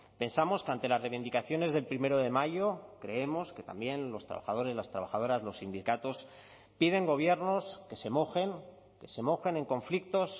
pensamos que ante las reivindicaciones del primero de mayo creemos que también los trabajadores las trabajadoras los sindicatos piden gobiernos que se mojen que se mojen en conflictos